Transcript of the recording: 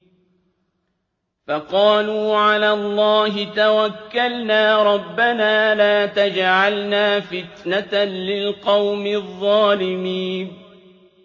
فَقَالُوا عَلَى اللَّهِ تَوَكَّلْنَا رَبَّنَا لَا تَجْعَلْنَا فِتْنَةً لِّلْقَوْمِ الظَّالِمِينَ